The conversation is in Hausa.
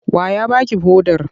Wa ya ba ki hodar?